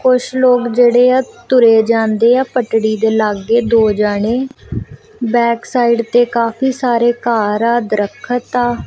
ਕੁਛ ਲੋਕ ਜਿਹੜੇ ਆ ਤੁਰੇ ਜਾਂਦੇ ਆ ਪਟੜੀ ਦੇ ਲਾਗੇ ਦੋ ਜਣੇ ਬੈਕ ਸਾਈਡ ਤੇ ਕਾਫੀ ਸਾਰੇ ਘਰ ਆ ਦਰਖਤ ਆ।